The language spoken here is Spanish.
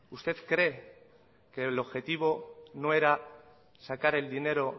usted cree que el objetivo no era sacar el dinero